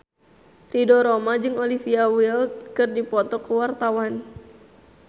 Ridho Roma jeung Olivia Wilde keur dipoto ku wartawan